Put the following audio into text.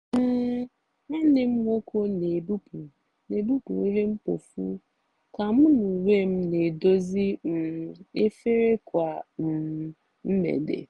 um nwanne m nwoke n'ebupụ n'ebupụ ihe mkpofu ka mu onwem n'edozi um efere kwa um mgbede.